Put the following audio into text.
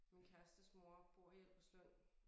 Min kærestes mor bor i Albertslund